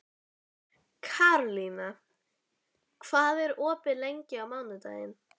Karlína, hvað er opið lengi á mánudaginn?